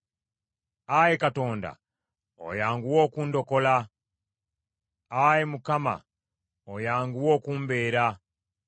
Ayi Katonda oyanguwa okundokole. Ayi Mukama oyanguwe okumbeera.